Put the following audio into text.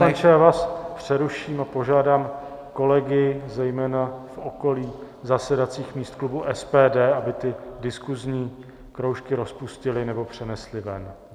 Pane poslanče, já vás přeruším a požádám kolegy zejména v okolí zasedacích míst klubu SPD, aby ty diskusní kroužky rozpustili, nebo přenesli ven.